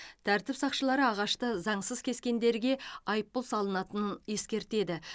тәртіп сақшылары ағашты заңсыз кескендерге айыппұл салынатынын ескертеді